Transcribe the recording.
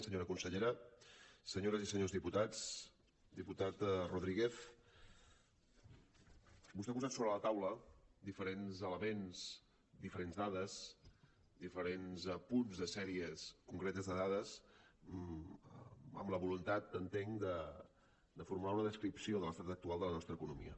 senyora consellera senyores i senyors diputats diputat rodríguez vostè ha posat sobre la taula diferents elements diferents dades diferents apunts de sèries concretes de dades amb la voluntat entenc de formular una descripció de l’estat actual de la nostra economia